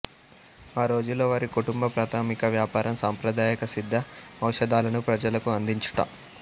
ఆ రోజుల్లో వారి కుటుంబ ప్రాథమిక వ్యాపారం సాంప్రదాయక సిద్ధ ఔషధాలను ప్రజలకు అందించుట